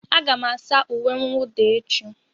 Aga m asa uwe mwụda echi.